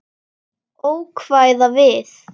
Ókvæða við